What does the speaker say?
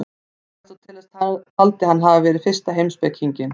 Aristóteles taldi hann hafa verið fyrsta heimspekinginn.